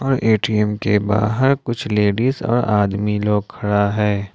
ATM के बाहर कुछ लेडिस और आदमी लोग खड़ा है।